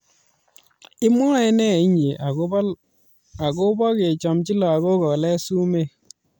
Tos imwae ne inye akobo kichamchi lakok kolet sumek